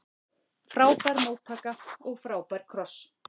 Frábær móttaka og frábær kross.